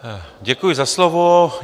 Děkuji za slovo.